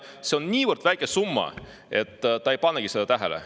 – ja see on niivõrd väike summa, et ta ei panegi seda tähele.